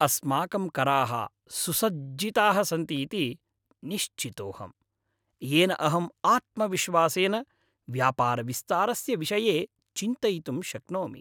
अस्माकं कराः सुसज्जिताः सन्ति इति निश्चितोऽहम्। येन अहम् आत्मविश्वासेन व्यापारविस्तारस्य विषये चिन्तयितुं शक्नोमि।